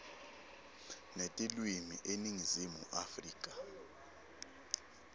netilwimi eningizimu afrika